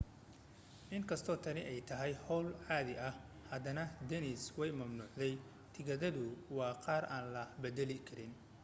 in kastoo tani ay tahay hawl caadi ah haddana disney way mamnuucday tigidhadu waa qaar aan la beddeli karin